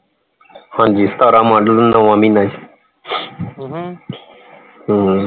ਹਾਂਜੀ ਸਤਾਰਹ ਮਾਡਲ ਨੌਵਾਂ ਮਹੀਨਾ ਆ ਹਮ